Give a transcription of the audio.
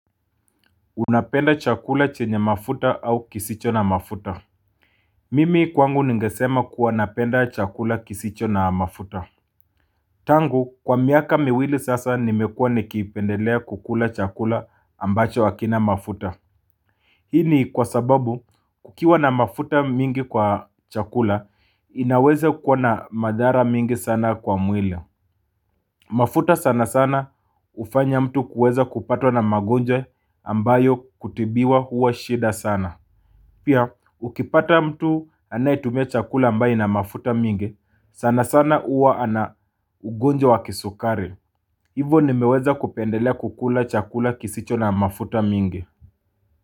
Unapenda chakula chenye mafuta au kisicho na mafuta. Mimi kwangu ningesema kuwa napenda chakula kisicho na mafuta. Tangu kwa miaka miwili sasa nimekua nikipendelea kukula chakula ambacho hakina mafuta. Hini kwa sababu kukiwa na mafuta mingi kwa chakula inaweza kua na madhara mingi sana kwa mwili. Mafuta sana sana hufanya mtu kuweza kupatwa na magonjwa ambayo kutibiwa huwa shida sana. Pia, ukipata mtu anayetumia chakula ambaye na mafuta mingi, sana sana huwa ana ugonjwa wa kisukari. Hivo nimeweza kupendelea kukula chakula kisicho na mafuta mingi.